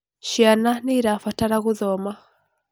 Ciana nĩirabatara gũthoma.